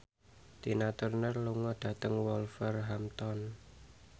Tina Turner lunga dhateng Wolverhampton